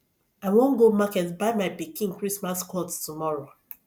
i wan go market buy my pikin christmas cloth tomorrow